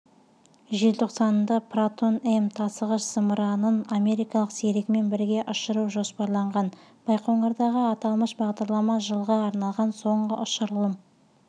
желтоқсанында протон-м тасығыш-зымыранын америкалық серігімен бірге ұшыру жоспарланған байқоңырдағы аталмыш бағдарлама жылға арналған соңғы ұшырылым